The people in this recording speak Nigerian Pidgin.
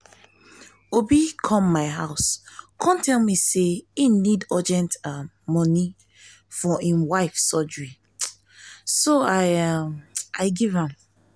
obi come my house um come tell me say he need urgent um money for im wife surgery so i um give am